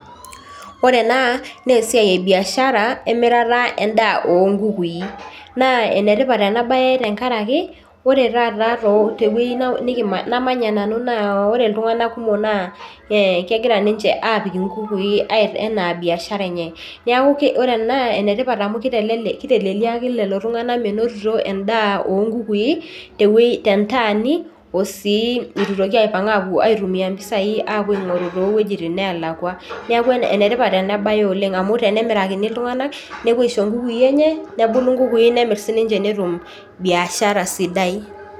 Ore ena naa esiai e biashara emirata endaa oonkukui naa enetipata ena baye tenkaraki ore taata tewueji namanya nanu naa ore iltung'anak kumok naa ee kegira ninche aapik nkukui ena biashara enye neeku ore ena enetipat amu kiteleliaki lelo tung'anak menotito endaa oonkukui tentaani o sii itu itoki aipang' aapuo aitumia mpisaai aapuo aing'oru toowuejitin naalakua, neeku enetipat ena baye oleng' amu tenemirakini iltung'anak nepuo aisho nkukui enye nebulu nkukui nemirr sininche netum biashara sidai.